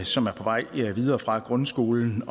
som er på vej videre fra grundskolen